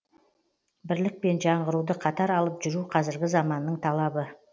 бірлік пен жаңғыруды қатар алып жүру қазіргі заманның талабы